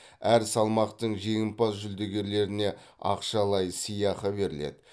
әр салмақтың жеңімпаз жүлдегерлеріне ақшалай сыйақы беріледі